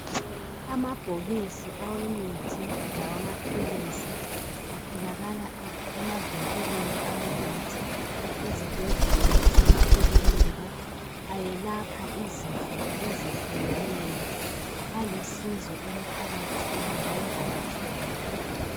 Amabhokisi awemithi lawamaphilisi atholakala emavinkilini awemithi ezibhedlela, lasemakilinika, ayelapha izifo ezehlukeneyo. Alusizo emphakathini njalo ayathengeka.